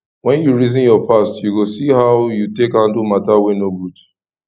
wen yu reason yur past yu go see how yu take handle mata wey no good